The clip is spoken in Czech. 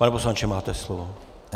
Pane poslanče, máte slovo.